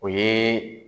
O ye